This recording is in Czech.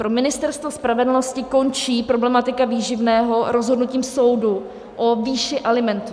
Pro Ministerstvo spravedlnosti končí problematika výživného rozhodnutím soudu o výši alimentů.